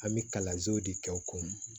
An bɛ kalansow de kɛ o kɔnɔ